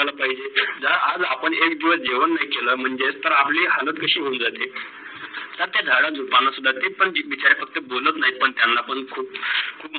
द्याला पाहिजे. आज आपण एक दिवस जेवण केल नाही तर आपली हलत कशी होऊन जाते? तर ते झाडा झुडपणा तेच सुद्धा पण ते बिचारे फक्त बोलत नाही ते पण त्यांना पण खूप